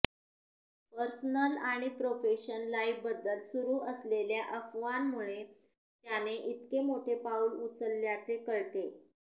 personal आणि profession लाईफबद्दल सुरु असलेल्या अफवांमुळे त्याने इतके मोठे पाऊल उचलल्याचे कळतेय